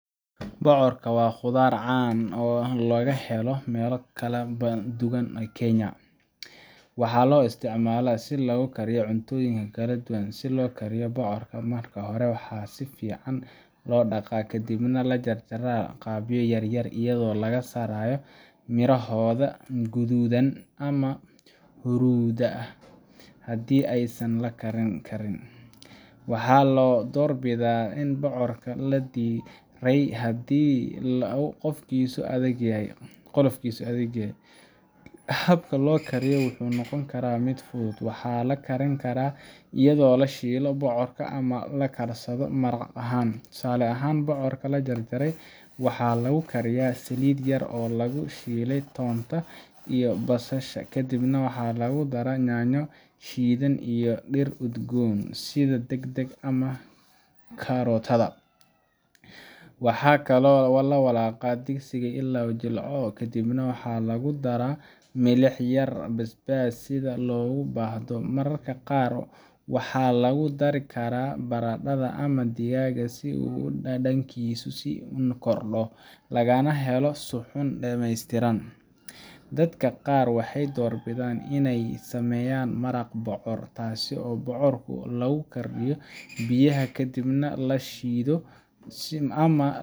Bocorka waa khudaar caan ah oo laga helo meelo badan oo Kenya ah, waxaana loo isticmaalaa in lagu kariyo cuntooyin kala duwan. Si loo kariyo bocorka, marka hore waa in si fiican loo dhaqaa, kadibna la jarjaraa qaybo yaryar iyadoo laga saaray mirohooda guduudan ama huruuda ah haddii aysan la karin karin. Waxaa la doorbidaa in bocorka la diiray haddii qolofkiisu adag yahay. Habka loo kariyo wuxuu noqon karaa mid fudud. Waxaa la karin karaa iyadoo la shiilo bocorka ama la karsado maraq ahaan. Tusaale ahaan, bocorka la jarjaray waxaa lagu kariyaa saliid yar oo lagu shiilay toonta iyo basasha, kadibna lagu daro yaanyo shiidan iyo dhir udgoon sida dhagdhag ama coriander. Waxaa lagu walaaqaa digsi ilaa uu jilco, kadibna waxaa lagu daro milix iyo basbaas sida loogu baahdo. Mararka qaar waxaa lagu dari karaa baradhada ama digaag si uu dhadhankiisu u sii korodho, lagana helo suxuun dhameystiran. Dadka qaar waxay doorbidaan inay sameeyaan maraq bocor ah, taas oo bocorka lagu kariyo biyaha kadibna la shiido ama la